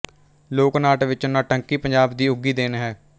ਲੋਕ ਨਾਟ ਵਿੱਚ ਨੌਟੰਕੀ ਪੰਜਾਬ ਦੀ ਉੱਘੀ ਦੇਣ ਹੈ